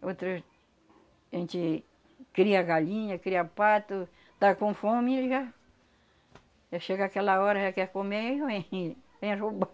outro a gente cria galinha, cria pato, tá com fome e já já chega aquela hora, já quer comer e vem, vem roubar.